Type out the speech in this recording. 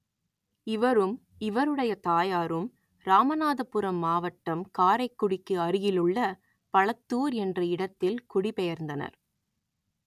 இவரும் இவருடைய தாயாரும் இராமநாதபுரம் மாவட்டம் காரைக்குடிக்கு அருகிலுள்ள பளத்தூர் என்ற இடத்தில் குடிபெயர்ந்தனர்